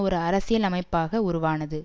ஒரு அரசியல் அமைப்பாக உருவானது